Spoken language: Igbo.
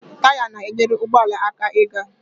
Taya na-enyere ụgbọala aka ịga